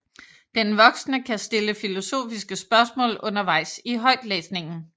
Den voksne kan stille filosofiske spørgsmål undervejs i højtlæsningen